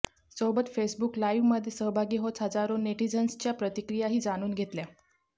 सोबत फेसबुक लाइव्हमध्ये सहभागी होत हजारो नेटीझन्सच्या प्रतिक्रियाही जाणून घेतल्या